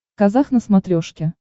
казах на смотрешке